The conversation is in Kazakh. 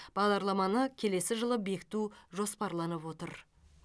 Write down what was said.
бағдарламаны келесі жылы бекіту жоспарланып отыр